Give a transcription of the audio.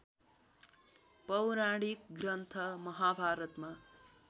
पौराणिक ग्रन्थ महाभारतमा